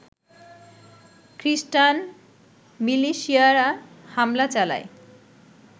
খ্রিষ্টান মিলিশিয়ারা হামলা চালায়